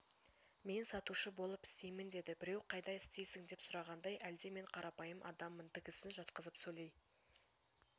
мен сатушы болып істеймін деді біреу қайда істейсің деп сұрағандай әлде мен қарапайым адаммын тігісін жатқызып сөйлей